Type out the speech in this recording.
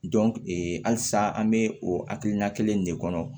ee halisa an be o hakilina kelen in de kɔnɔ